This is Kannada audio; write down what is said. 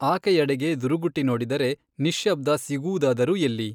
ಆಕೆಯಡೆಗೆ ದುರುಗುಟ್ಟಿ ನೋಡಿದರೆ, 'ನಿಶ್ಯಬ್ದ ಸಿಗುವುದಾದರೂ ಎಲ್ಲಿ?